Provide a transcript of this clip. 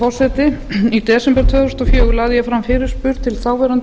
þúsund og fjögur lagði ég fram fyrirspurn til þáv